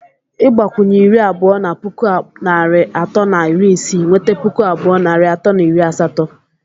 Ịgbakwunye iri abụọ na puku abụọ narị atọ na iri isii, ị nweta puku abụọ narị atọ na iri asatọ.